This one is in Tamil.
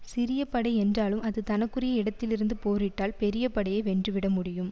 சிறிய படை என்றாலும் அது தனக்குரிய இடத்தில் இருந்து போரிட்டால் பெரிய படையை வென்று விட முடியும்